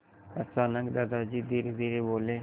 अचानक दादाजी धीरेधीरे बोले